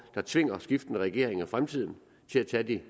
der tvinger skiftende regeringer i fremtiden til at tage de